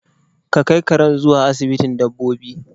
Ka kai karen zuwa asibitin dabbobi